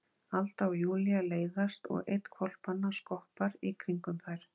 Alda og Júlía leiðast og einn hvolpanna skoppar í kringum þær.